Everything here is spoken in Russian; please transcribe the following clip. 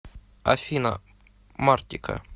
афина мартика